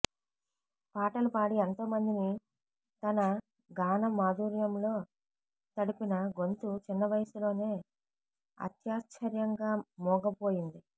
పాటలు పాడి ఎంతో మందిని తన గానమాధుర్యంలో తడిపిన గొంతు చిన్నవయసులోనే అత్యాశ్చర్యంగా మూగపోయింది